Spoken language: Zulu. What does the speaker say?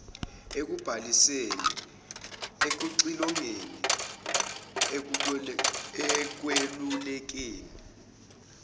ekubhaliseni ekuxilongeni ekwelulekeni